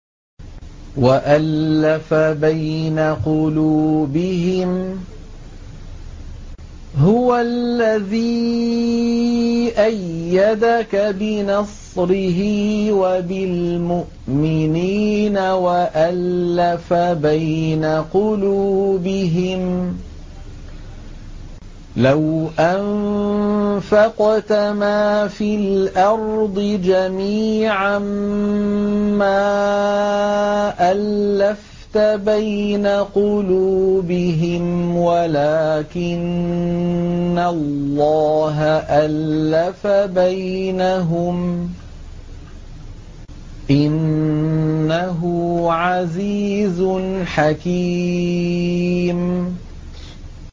وَأَلَّفَ بَيْنَ قُلُوبِهِمْ ۚ لَوْ أَنفَقْتَ مَا فِي الْأَرْضِ جَمِيعًا مَّا أَلَّفْتَ بَيْنَ قُلُوبِهِمْ وَلَٰكِنَّ اللَّهَ أَلَّفَ بَيْنَهُمْ ۚ إِنَّهُ عَزِيزٌ حَكِيمٌ